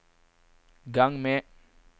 gang med